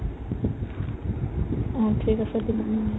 অ, ঠিক আছে দিবা